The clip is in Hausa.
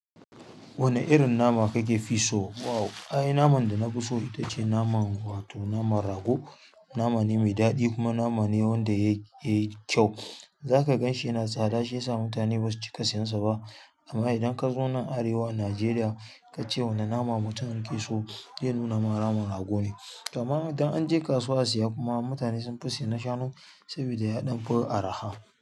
Wane irin nama kakefi so? Wow! Ai naman da nafi so ita ce nama, wato naman rago. Nama ne mai daɗi kuma nama ne wanda yayi kyau. Zaka ganshi yana stada shiya mutane basu cika sayan sa ba amma idan ka zo nan Arewa Najeriya ka ce wane nama mutum yake so, zai nuna ma naman rago ne. To amma idan an je kasuwa a siya kuma mutane sun fi saye na shanu saboda ya ɗanfi araha.